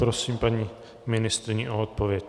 Prosím paní ministryni o odpověď.